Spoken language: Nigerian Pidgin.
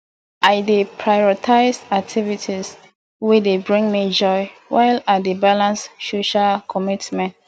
i dey prioritize activities wey dey bring me joy while i dey balance social commitments